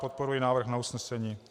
Podporuji návrh na usnesení.